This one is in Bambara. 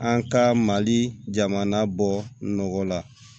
An ka mali jamana bɔ nɔgɔ la